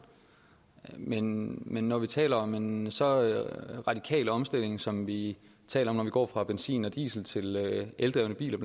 men når vi taler om en så radikal omstilling som vi taler om når vi går fra benzin og diesel til eldrevne biler